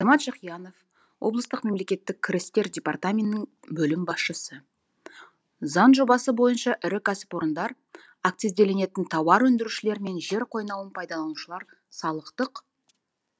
азамат жақиянов облыстық мемлекеттік кірістер департаментінің бөлім басшысы заң жобасы бойынша ірі кәсіпорындар акцизделінетін тауар өндірушілер мен жер қойнауын пайдаланушылар салықтық